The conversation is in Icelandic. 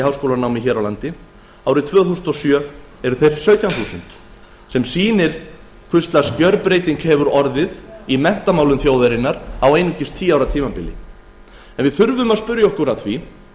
í háskólanámi hér á landi árið tvö þúsund og sjö voru þeir sautján þúsund sem sýnir hvers lags gjörbreyting hefur orðið í menntamálum þjóðarinnar á einungis tíu árum við þurfum að spyrja okkur að því